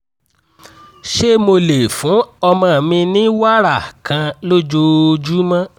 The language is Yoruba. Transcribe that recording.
ṣé mo lè fún ọmọ mi ní wàrà kan lójoojúmọ́?